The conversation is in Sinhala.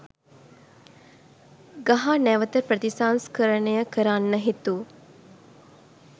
ගහ නැවත ප්‍රතිසංස්කරණය කරන්න හිතු